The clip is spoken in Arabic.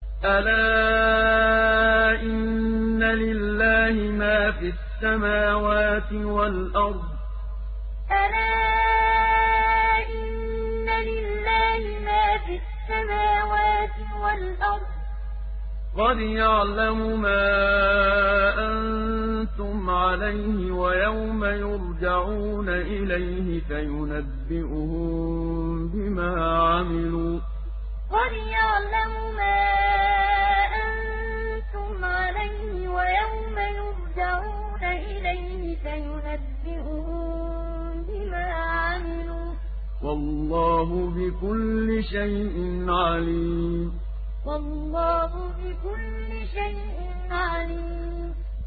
أَلَا إِنَّ لِلَّهِ مَا فِي السَّمَاوَاتِ وَالْأَرْضِ ۖ قَدْ يَعْلَمُ مَا أَنتُمْ عَلَيْهِ وَيَوْمَ يُرْجَعُونَ إِلَيْهِ فَيُنَبِّئُهُم بِمَا عَمِلُوا ۗ وَاللَّهُ بِكُلِّ شَيْءٍ عَلِيمٌ أَلَا إِنَّ لِلَّهِ مَا فِي السَّمَاوَاتِ وَالْأَرْضِ ۖ قَدْ يَعْلَمُ مَا أَنتُمْ عَلَيْهِ وَيَوْمَ يُرْجَعُونَ إِلَيْهِ فَيُنَبِّئُهُم بِمَا عَمِلُوا ۗ وَاللَّهُ بِكُلِّ شَيْءٍ عَلِيمٌ